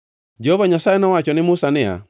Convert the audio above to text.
Jehova Nyasaye nowacho ne Musa niya,